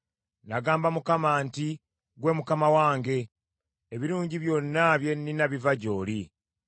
Nagamba Mukama nti, “Ggwe Mukama wange, ebirungi byonna bye nnina biva gy’oli.”